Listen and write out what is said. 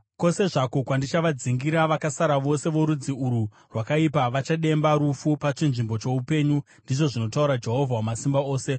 Kwose zvako kwandichavadzingira, vakasara vose vorudzi urwu rwakaipa, vachademba rufu pachinzvimbo choupenyu, ndizvo zvinotaura Jehovha Wamasimba Ose.’